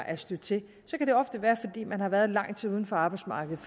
er stødt til kan det ofte være fordi man har været lang tid uden for arbejdsmarkedet